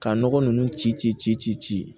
Ka nɔgɔ nunnu ci ci ci ci ci ci ci ci ci